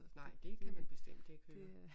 Nej det kan man bestemt ikke høre